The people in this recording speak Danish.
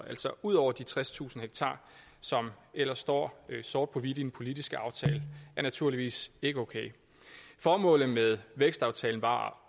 altså ud over de tredstusind ha som ellers står sort på hvidt i den politiske aftale er naturligvis ikke okay formålet med vækstaftalen var